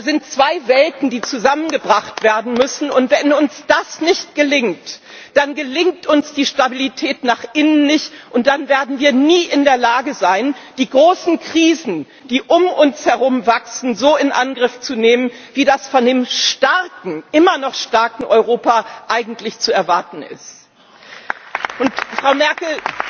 Da sind zwei Welten, die zusammengebracht werden müssen, und wenn uns das nicht gelingt, dann gelingt uns die Stabilität nach innen nicht, und dann werden wir nie in der Lage sein, die großen Krisen, die um uns herum wachsen, so in Angriff zu nehmen, wie das von dem immer noch starken Europa eigentlich zu erwarten ist. Frau Merkel,